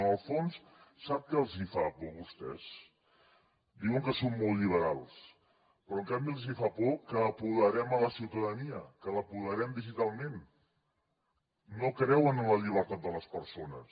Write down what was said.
en el fons sap què els fa por a vostès diuen que són molt lliberals però en canvi els fa por que apoderem la ciutadania que l’apoderem digitalment no creuen en la llibertat de les persones